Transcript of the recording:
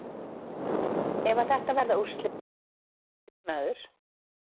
Ef að þetta verða úrslitin, þú hlýtur að vera ánægður?